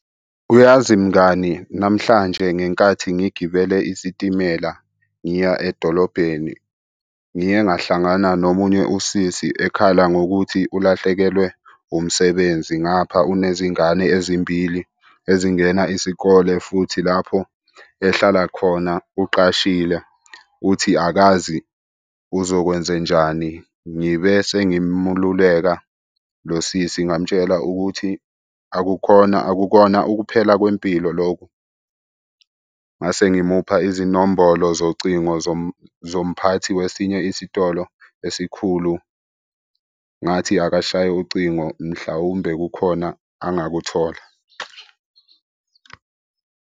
Uyazi mngani namhlanje ngenkathi ngigibele isitimela ngiya edolobheni, ngiye ngahlangana nomunye usisi ekhala ngokuthi ulahlekelwe umsebenzi. Ngapha unezingane ezimbili ezingena isikole futhi lapho ehlala khona uqashile uthi akazi uzokwenzenjani. Ngibe sengimululeka lo sisi ngamutshela ukuthi akukhona akukona ukuphela kwempilo lokhu. Ngase ngimupha izinombolo zocingo zomphathi wesinye isitolo esikhulu ngathi akashaye ucingo mhlawumbe kukhona angakuthola.